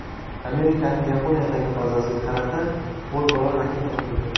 Amerikaning Yaponiyadagi bazasiga qarata qo‘lbola raketa otildi.